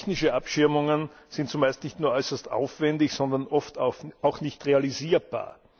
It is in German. Technische Abschirmungen sind zumeist nicht nur äußerst aufwendig, sondern oft auch nicht realisierbar.